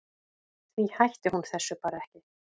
Því hætti hún þessu bara ekki.